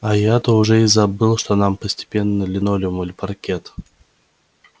а то я уже и забыл что там постелено линолеум или паркет